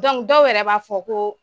Dɔnku dɔw yɛrɛ b'a fɔ ko